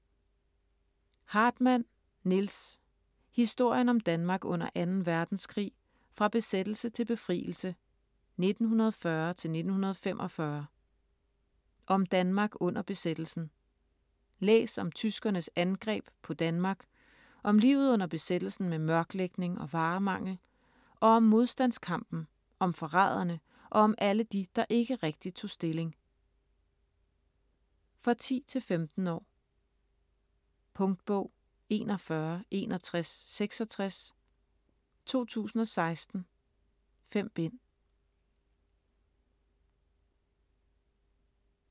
Hartmann, Nils: Historien om Danmark under 2. verdenskrig: fra besættelse til befrielse 1940-1945 Om Danmark under besættelsen. Læs om tyskernes angreb på Danmark, om livet under besættelsen med mørklægning og varemangel. Og om modstandskampen, om forræderne og om alle de, der ikke rigtigt tog stilling. For 10-15 år. Punktbog 416166 2016. 5 bind.